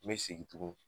N bɛ segin tugun